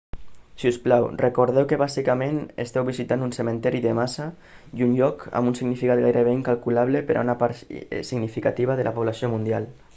si us plau recordeu que bàsicament esteu visitant un cementiri de massa i un lloc amb un significat gairebé incalculable per a una part significativa de la població mundial